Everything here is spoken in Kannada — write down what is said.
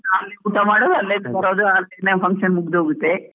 ಊಟ ಮಾಡೋದ್ ಅಲ್ಲೇ ಬರೋದ್, ಅಲ್ಲೇ function ಮುಗ್ದ್ ಹೋಗುತ್ತೆ.